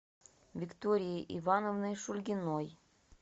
викторией ивановной шульгиной